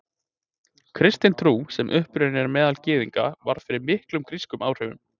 Kristin trú, sem upprunnin er meðal Gyðinga, varð fyrir miklum grískum áhrifum.